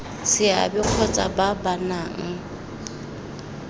seabe kgotsa ba ba nang